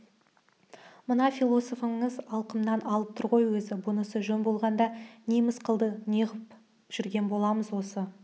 мына философыңыз алқымнан алып тұр ғой өзі бұнысы жөн болғанда неміз қалды неғып жүрген боламыз осы